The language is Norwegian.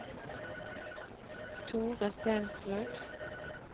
Thore Stensrud